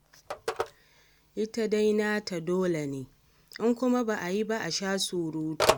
Ita dai nata dole ne, in kuma ba a yi a sha surutu.